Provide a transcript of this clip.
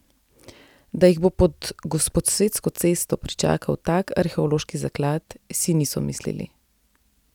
Da jih bo pod Gosposvetsko cesto pričakal tak arheološki zaklad, si niso mislili.